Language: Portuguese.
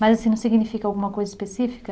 Mas assim, não significa alguma coisa específica?